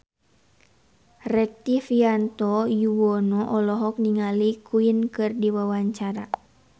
Rektivianto Yoewono olohok ningali Queen keur diwawancara